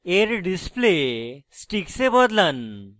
এর display sticks এ বদলান